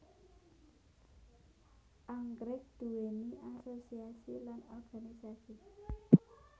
Anggrèk nduwéni asosiasi lan organisasi